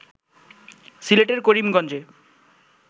সিলেটের করিমগঞ্জে